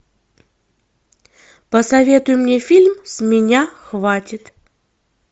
посоветуй мне фильм с меня хватит